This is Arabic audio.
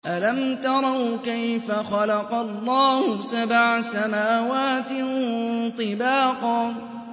أَلَمْ تَرَوْا كَيْفَ خَلَقَ اللَّهُ سَبْعَ سَمَاوَاتٍ طِبَاقًا